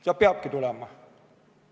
See peabki tulema.